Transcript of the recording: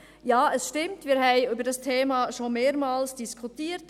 Ja, es stimmt, wir haben über dieses Thema schon mehrmals diskutiert.